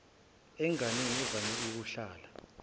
enganeni evame ukuhlala